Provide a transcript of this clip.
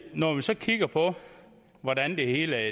når vi så kigger på hvordan det hele